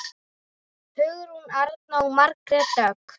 Hugrún Arna og Margrét Dögg.